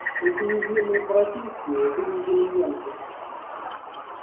эти низменные профессии были уделом янки